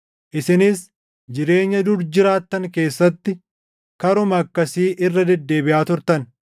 Isinis jireenya dur jiraattan keessatti karuma akkasii irra deddeebiʼaa turtan.